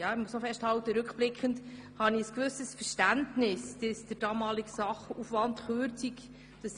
Ich muss festhalten, dass ich rückblickend ein gewisses Verständnis für Ihren Beschluss aufbringe, den Sachaufwand zu kürzen.